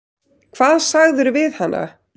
Hvað sagðirðu við hana?